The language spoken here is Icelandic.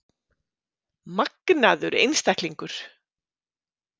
Magnaður einstaklingur!